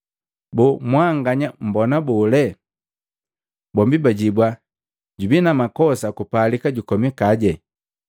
Boo mwanganya mmbona bole?” Bombi bajibua, “Jubii na makosa kupalika jukomikaje.”